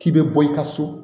K'i bɛ bɔ i ka so